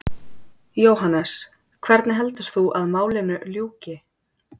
Jóhannes: Hvernig heldur þú að málinu ljúki?